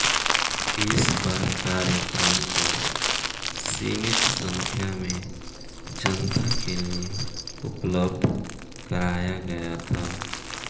इस बार कार्यक्रम को सीमित संख्या में जनता के लिए उपलब्ध कराया गया था